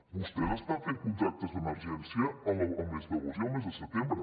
vostès estan fent contractes d’emergència el mes d’agost i el mes de setembre